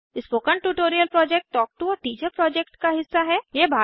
spoken tutorial project talk to a teacher project का हिस्सा है